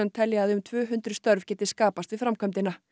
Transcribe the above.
telja að um tvö hundruð störf geti skapast við framkvæmdina